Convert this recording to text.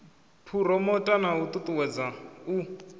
phuromotha na u ṱuṱuwedza u